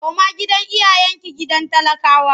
Koma gidan iyayenki gidan talakawa!